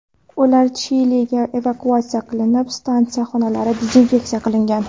Ular Chiliga evakuatsiya qilinib, stansiya xonalari dezinfeksiya qilingan.